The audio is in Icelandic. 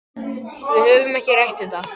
Við höfum ekki rætt þetta.